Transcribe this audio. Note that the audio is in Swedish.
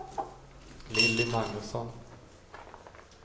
Lilly Magnusson